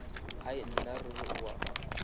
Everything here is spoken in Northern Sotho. hai nna ruri o a